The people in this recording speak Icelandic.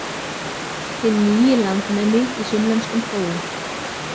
Hinn nýi landnemi í sunnlenskum skógum.